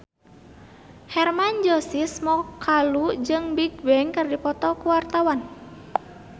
Hermann Josis Mokalu jeung Bigbang keur dipoto ku wartawan